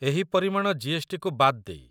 ଏହି ପରିମାଣ ଜି.ଏସ୍.ଟି.କୁ ବାଦ୍ ଦେଇ।